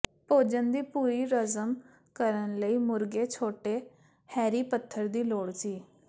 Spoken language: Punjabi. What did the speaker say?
ਭੋਜਨ ਦੀ ਪੂਰੀ ਹਜ਼ਮ ਕਰਨ ਲਈ ਮੁਰਗੇ ਛੋਟੇ ਰੈਹੀ ਪੱਥਰ ਦੀ ਲੋੜ ਸੀ